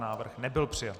Návrh nebyl přijat.